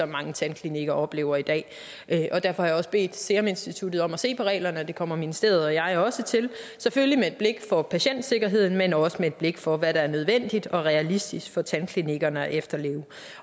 mange tandklinikker oplever i dag og derfor har jeg også bedt seruminstituttet om at se på reglerne og det kommer ministeriet og jeg også til selvfølgelig med et blik for patientsikkerheden men også med et blik for hvad der er nødvendigt og realistisk for tandklinikkerne at efterleve